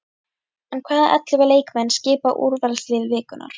En hvaða ellefu leikmenn skipa úrvalslið vikunnar?